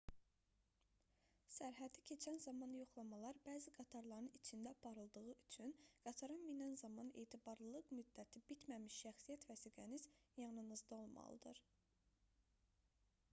sərhədi keçən zaman yoxlamalar bəzi qatarların içində aparıldığı üçün qatara minən zaman etibarlılıq müddəti bitməmiş şəxsiyyət vəsiqəniz yanınızda olmalıdır